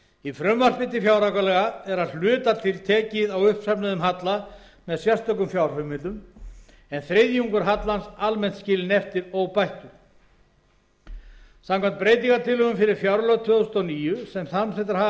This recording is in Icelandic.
í frumvarpi til fjáraukalaga er að hluta til tekið á uppsöfnuðum halla með sérstökum fjárheimildum en þriðjungur hallans almennt skilinn eftir óbættur samkvæmt breytingartillögum fyrir fjárlög fyrir árið tvö þúsund og níu sem samþykktar hafa